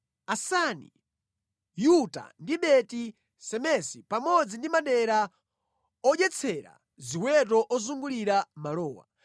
Asani, Yuta ndi Beti-Semesi pamodzi ndi madera odyetsera ziweto ozungulira malowa.